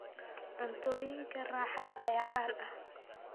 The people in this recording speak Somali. Cuntooyinka raaxada ayaa caan ah.